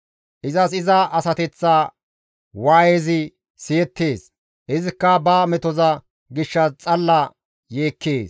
Izas iza asateththa waayezi siyettees; izikka ba metoza gishshas xalla yeekkees.»